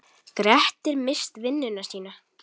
Grettir misst vinnuna sína.